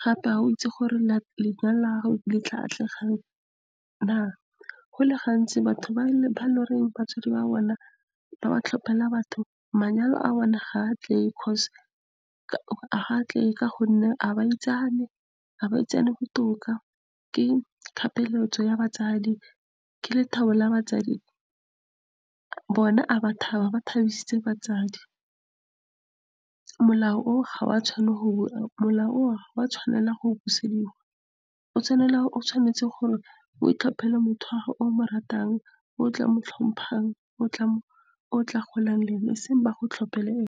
gape ga o itse gore lenyalo la gago letla atlega na. Go le gantsi batho ba batsadi ba bona ba ba tlhopela batho, manyalo a bone ga a tlege ka gonne ga baitsane, ga baitsane botoka ke ya batsadi. Ke lethabo la batsadi, bona a ba thaba, ba thabisitse batsadi, molao o ga wa tshwanela go busediwa, o tshwanetse gore o itlhopele motho wa gago, o mo ratang, o tla mo tlhompang, otla golang le ene, e seng gore bago tlhopele ene.